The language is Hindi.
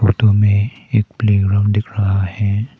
फोटो में एक प्ले ग्राउंड दिख रहा है।